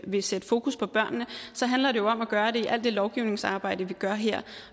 vil sætte fokus på børnene så handler det jo om at gøre det i alt det lovgivningsarbejde vi gør her